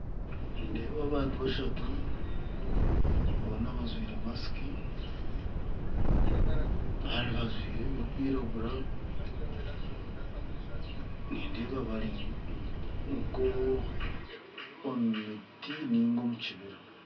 Nindeeba abantu bashatu boona bajwire masiki kandi bajwire ebirikwiragura nindeeba bari nk'omu miti niga omu kibira